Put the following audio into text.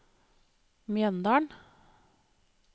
Mjøndalen